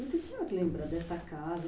O que o senhor lembra dessa casa?